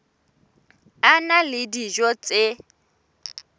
a na le dijo tse